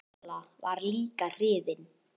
Lolla var líka hrifin.